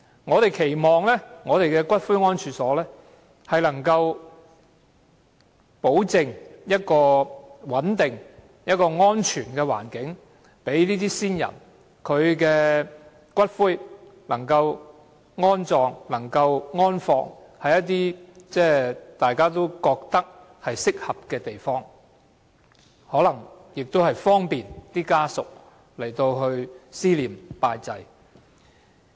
我們期望骨灰安置所可保證提供穩定、安全的環境，讓先人的骨灰安放於大家認為合適的地方，方便家屬思念、拜祭。